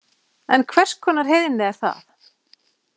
En hvers konar heiðni er það?